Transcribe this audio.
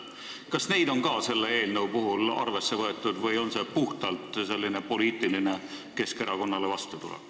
Kas neid on ka selle eelnõu puhul arvesse võetud või on see puhtalt poliitiline vastutulek Keskerakonnale?